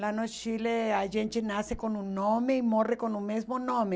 Lá no Chile, a gente nasce com um nome e morre com o mesmo nome.